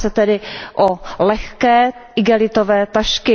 Jedná se tedy o lehké igelitové tašky.